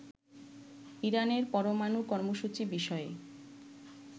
ইরানের পরমানু কর্মসূচি বিষয়ে